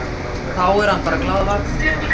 Þá er hann bara glaðvakandi.